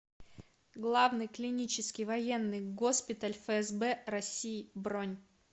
главный клинический военный госпиталь фсб россии бронь